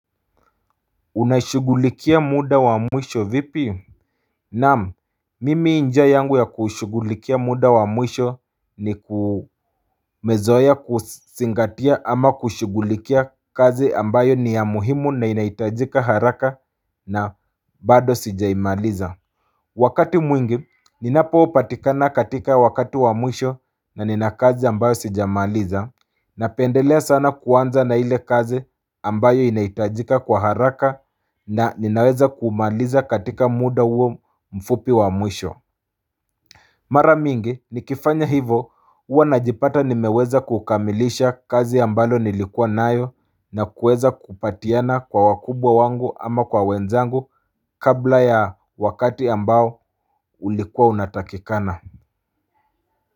Unashugulikia muda wa mwisho vipi Naam, mimi njia yangu ya kushugulikia muda wa mwisho ni mezoea kuzingatia ama kushugulikia kazi ambayo ni ya muhimu na inaitajika haraka na bado sijaimaliza Wakati mwingi, ninapo patikana katika wakati wa mwisho na nina kazi ambayo sijamaliza napendelea sana kuanza na ile kazi ambayo inaitajika kwa haraka na ninaweza kumaliza katika muda huo mfupi wa mwisho Mara mingi, nikifanya hivyo huwa najipata nimeweza kukamilisha kazi ambayo nilikua nayo na kuweza kupatiana kwa wakubwa wangu ama kwa wenzangu kabla ya wakati ambao ulikua unatakikana.